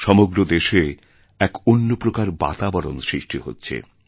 সমগ্র দেশে এক অন্য প্রকার বাতাবরণ সৃষ্টি হচ্ছে